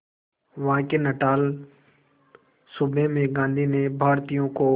वहां के नटाल सूबे में गांधी ने भारतीयों को